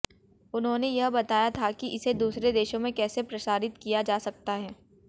उन्होंने यह बताया था कि इसे दूसरे देशों में कैसे प्रसारित किया जा सकता है